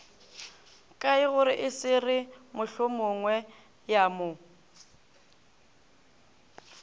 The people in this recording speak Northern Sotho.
kaegore e se re mohlomongweyamo